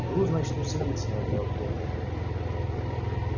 груз значит у синицына этого где-то